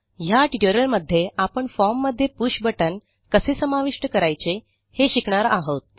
ह्या ट्युटोरियलमध्ये आपण फॉर्म मध्ये पुष बटन कसे समाविष्ट करायचे हे शिकणार आहोत